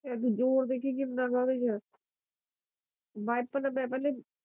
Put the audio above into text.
ਏਦੇ ਚ ਜ਼ੋਰ ਦੇਖੀ ਕਿੰਨਾ ਫਿਰ ਵਾਈਪਰ ਨਾ